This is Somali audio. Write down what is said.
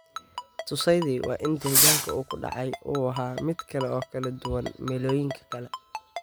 Tusaydii waa in deegaanka uu ku dhacay uu ahaa mid kale oo kala duwan meelooyinka kale.